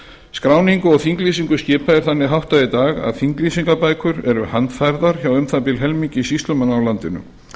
skráningu og þinglýsingu skipa er þannig háttað í dag að þinglýsingarbækur eru handfærðar hjá um það bil helmingi sýslumanna á landinu